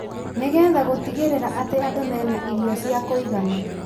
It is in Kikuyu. nĩ getha gũtigĩrĩra atĩ andũ mena irio cia kũigana,